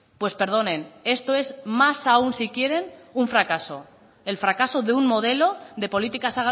pues perdonen esto es más aún si quieren un fracaso el fracaso de un modelo de políticas